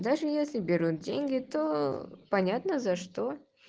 даже если берут деньги то понятно за что